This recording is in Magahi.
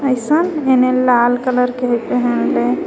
किसन बिना लाल कलर के ही पहनले.